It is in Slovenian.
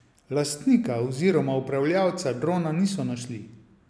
Lastnika oziroma upravljavca drona niso našli.